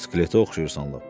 Skeletə oxşayırsan lap.